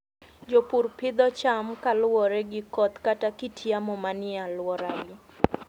Jopur pidho cham kaluwore gi koth kata kit yamo manie alworagi.